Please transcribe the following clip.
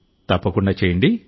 తప్పకుండా చేయండి